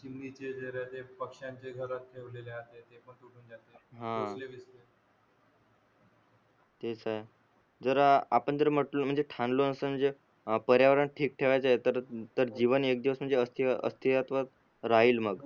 तेच आहे जर आपण जर म्हटलो म्हणजे ठाणलो असून जर पर्यावरण ठीक ठेवायचे आहे तर तर जीवन एक दिवस म्हणजे अस्ती अस्तीत्वात राहील मग